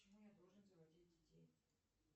почему я должен заводить детей